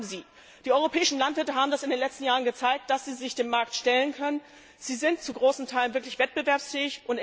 Und wir haben sie! Die europäischen Landwirte haben in den letzten Jahren gezeigt, dass sie sich dem Markt stellen können sie sind zu großen Teilen wirklich wettbewerbsfähig.